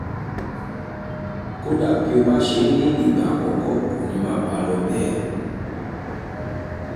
kódà bí ó bá ṣe é ní ìgbà àkọ́kọ́ kò ní máa bá a lọ bẹ́ẹ̀